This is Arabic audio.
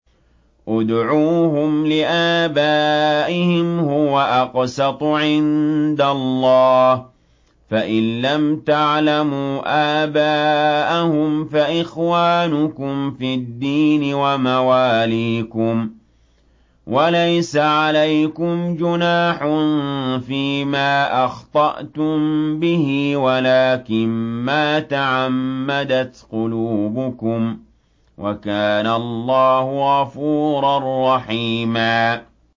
ادْعُوهُمْ لِآبَائِهِمْ هُوَ أَقْسَطُ عِندَ اللَّهِ ۚ فَإِن لَّمْ تَعْلَمُوا آبَاءَهُمْ فَإِخْوَانُكُمْ فِي الدِّينِ وَمَوَالِيكُمْ ۚ وَلَيْسَ عَلَيْكُمْ جُنَاحٌ فِيمَا أَخْطَأْتُم بِهِ وَلَٰكِن مَّا تَعَمَّدَتْ قُلُوبُكُمْ ۚ وَكَانَ اللَّهُ غَفُورًا رَّحِيمًا